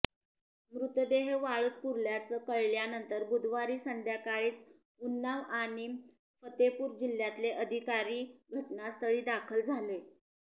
मृतदेह वाळूत पुरल्याचं कळल्यानंतर बुधवारी संध्याकाळीच उन्नाव आणि फतेपूर जिल्ह्यातले अधिकारी घटनास्थळी दाखल झाले